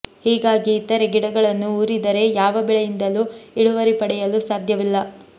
ಹೀಗಾಗಿ ಇತರೇ ಗಿಡಗಳನ್ನು ಊರಿದರೆ ಯಾವ ಬೆಳೆಯಿಂದಲೂ ಇಳುವರಿ ಪಡೆಯಲು ಸಾಧ್ಯವಿಲ್ಲ